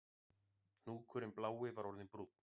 Hnúkurinn blái var orðinn brúnn